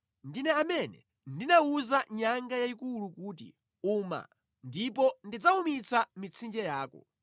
Ndine amene ndinawuza nyanga yayikulu kuti, ‘Uma’ ndipo ndidzawumitsa mitsinje yako.